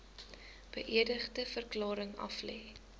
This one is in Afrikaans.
beëdigde verklaring aflê